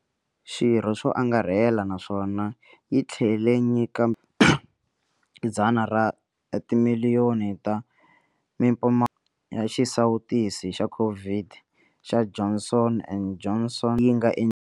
Xirho swo angarhela naswona yi tlhele nyika 100 ra timiliyoni ta ya xisawutisi xa COVID xa Johnson and Johnson leyi yi nga endliwa.